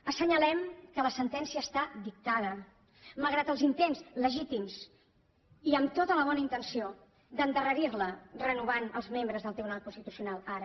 assenyalem que la sentència està dictada malgrat els intents legítims i amb tota la bona intenció d’endarrerir la renovant els membres del tribunal constitucional ara